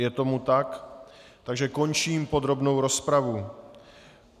Je tomu tak, takže končím podrobnou rozpravu.